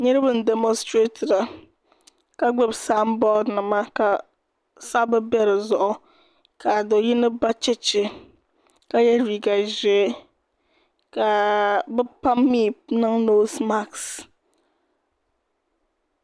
niraba n dɛmostirɛtira ka gbubi sanbood nima ka sabbu bɛ dizuɣu ka do yino ba chɛchɛ ka yɛ liiga ʒiɛ ka bi pam mii niŋ noos mask